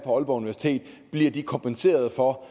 aalborg universitet bliver de kompenseret for